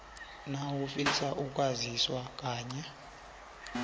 nawufisa ukwaziswa ngenye